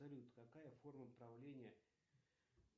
салют какая форма правления